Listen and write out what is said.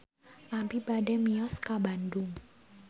Abi bade mios ka Bandung